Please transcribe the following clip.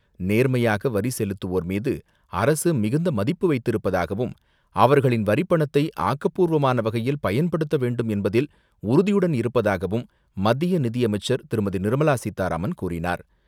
நேர்மையாக வரி செலுத்துவோர் மீது அரசு மிகுந்த மதிப்பு வைத்திருப்பதாகவும் அவர்களின் வரி பணத்தை ஆக்கப்பூர்வமான வகையில், பயன்படுத்த வேண்டும் என்பதில் உறுதியுடன் இருப்பதாகவும் மத்திய நிதியமைச்சர் திருமதி நிர்மலா சீதாராமன் கூறினார்.